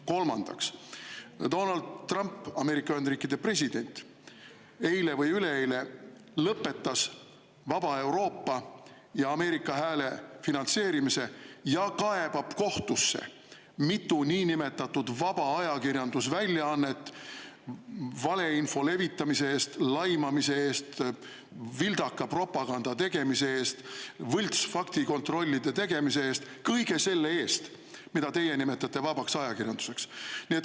Kolmandaks, Donald Trump, Ameerika Ühendriikide president, eile või üleeile lõpetas Vaba Euroopa ja Ameerika Hääle finantseerimise ja kaebab mitu niinimetatud vaba ajakirjandusväljaannet kohtusse valeinfo levitamise, laimamise, vildaka propaganda ja võltsfaktikontrollide tegemise eest – kõige selle eest, mida teie nimetate vabaks ajakirjanduseks.